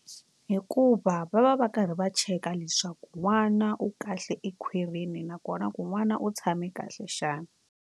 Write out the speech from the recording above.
Hikuva va va va karhi va cheka leswaku n'wana u kahle ekhwirini nakona ku n'wana u tshame kahle xana.